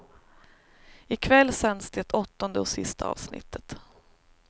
I kväll sänds det åttonde och sista avsnittet.